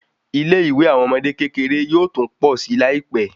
Ilé ìwé àwọn ọmọdé kékeré yóò tún pọ si Lai pẹ